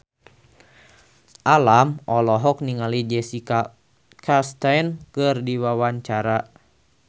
Alam olohok ningali Jessica Chastain keur diwawancara